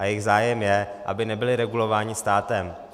A jejich zájem je, aby nebyli regulováni státem.